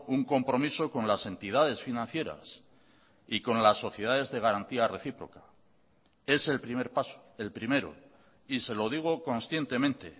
un compromiso con las entidades financieras y con las sociedades de garantía recíproca es el primer paso el primero y se lo digo conscientemente